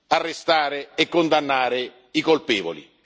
far arrestare e condannare i colpevoli.